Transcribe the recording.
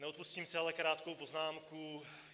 Neodpustím si ale krátkou poznámku.